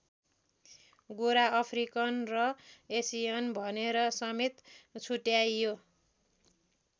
गोरा अफ्रिकन र एसियन भनेर समेत छुट्ट्याइयो।